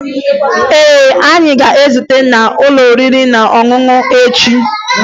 Ee, anyị ga-ezute n'ụlọ oriri na ọṅụṅụ echi